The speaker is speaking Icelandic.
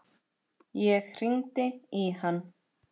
Ég hringdi í hann.